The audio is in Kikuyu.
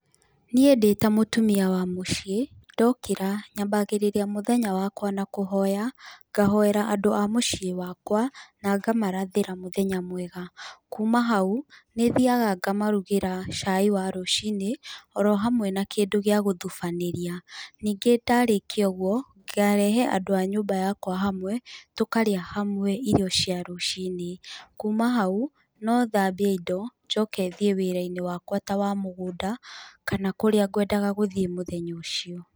Niĩ ndĩta mũtumia wa mũciĩ, ndokĩra nyambagĩrĩria mũthenya wakwa na kũhoya ngahoera andũ a mũciĩ wakwa na ngamarathĩra mũthenya mwega, kuma hau nĩthaiga ngamarugĩra chai wa rũcinĩ oro hamwe na kĩndũ gĩa gũtubanĩria, ningĩ ndarĩkia ũguo ngarehe andũ a nyũmba yakwa hamwe tũkarĩa hamwe irio cia rũciinĩ, kuma hau no thambie indo njoke thiĩ wĩra-inĩ wakwa ta wa mũgũnda kana kũrĩa ngwendaga gũthiĩ mũthenya ũcio.